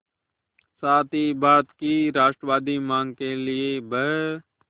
साथ ही भारत की राष्ट्रवादी मांग के लिए ब्